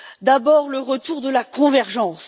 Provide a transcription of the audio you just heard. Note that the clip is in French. D'abord, le retour de la convergence.